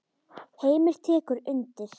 Heimir tekur undir.